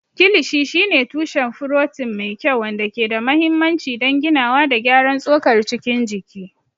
Kilishi shine tushen furotin mai kyau, wanda ke da mahimmanci don ginawa da gyaran tsokar cikin jiki.